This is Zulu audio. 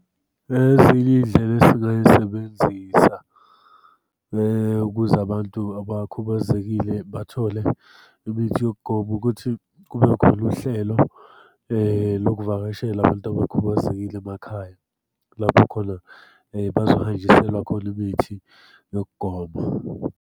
Ezinye iy'ndlela esingay'sebenzisa ukuze abantu abakhubazekile bathole imithi yokugoma, ukuthi kube khona uhlelo lokuvakashela abantu abakhubazekile emakhaya. Lapho khona bazohanjiselwa khona imithi yokugoma.